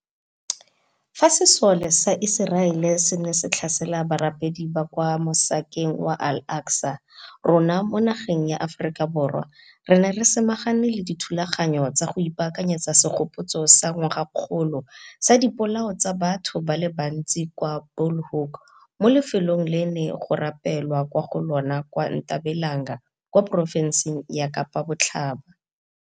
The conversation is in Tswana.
Fa sesole sa Iseraele se ne se tlhasela barapedi kwa Mo sekeng wa Al Aqsa, rona mo nageng ya Aforika Borwa re ne re samagane le dithulaganyo tsa go ipaakanyetsa segopotso sa ngwagakgolo sa Dipolao tsa Batho ba le Bantsi kwa Bu lhoek mo lefelong le go neng go rapelwa kwa go lona kwa Ntabelanga kwa porofenseng ya Kapa Botlhaba.